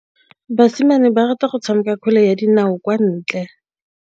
Basimane ba rata go tshameka kgwele ya dinaô kwa ntle.